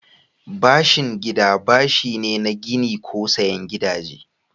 Bashin gida bashi ne na gini ko sayen gidaje.